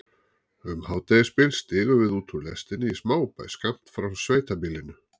Um hádegisbil stigum við út úr lestinni í smábæ skammt frá sveitabýlinu.